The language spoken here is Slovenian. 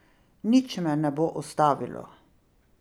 Nič me ne bo ustavilo.